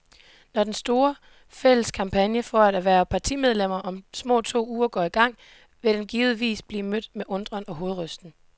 Når den store, fælles kampagne for at hverve partimedlemmer om små to uger går i gang, vil den givetvis blive mødt med undren og hovedrysten.